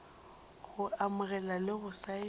go amogela le go saena